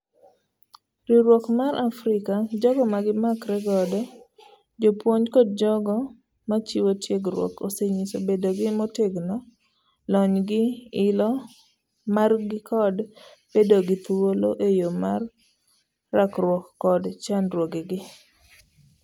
Riwruok mar Africa ,jogo magimakre godo ,jopuonj kod jogo nmachiwo ntiegruokosenyiso bedogi motegno ,lonygi ,ilo margikod bedo gi thuolo eyo mar rakruok kod chandruogegi.